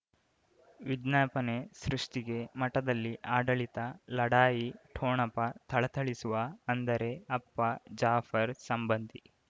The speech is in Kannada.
ವಿಜ್ಞಾಪನೆ ಸೃಷ್ಟಿಗೆ ಮಠದಲ್ಲಿ ಆಡಳಿತ ಲಢಾಯಿ ಠೊಣಪ ಥಳಥಳಿಸುವ ಅಂದರೆ ಅಪ್ಪ ಜಾಫರ್ ಸಂಬಂಧಿ